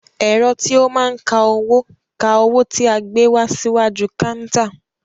Ẹ̀rọ tí o máa n ka owó, ka owó tí a gbé wá síwájú káántà.